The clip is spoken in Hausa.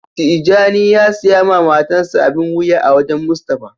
Tijani ya siya ma matan sa abin wuya a wajen Mustapha.